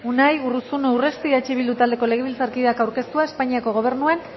unai urruzuno urresti eh bildu taldeko legebiltzarkideak aurkeztua espainiako gobernuan